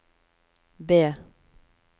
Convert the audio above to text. B